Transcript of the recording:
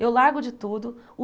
Eu largo de tudo.